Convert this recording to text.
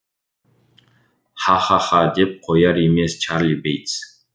ха ха ха деп қояр емес чарли бейтс